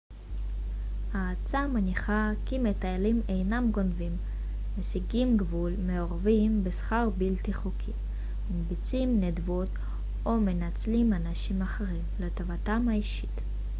העצה מניחה כי מטיילים אינם גונבים מסיגים גבול מעורבים בסחר בלתי חוקי מקבצים נדבות או מנצלים אנשים אחרים לטובתם האישית